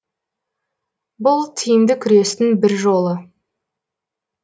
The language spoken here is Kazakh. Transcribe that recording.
бұл тиімді күрестің бір жолы